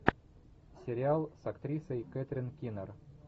сериал с актрисой кэтрин кинер